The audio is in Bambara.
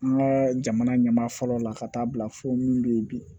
An ka jamana ɲɛma fɔlɔ la ka taa bila fo minnu bɛ yen bi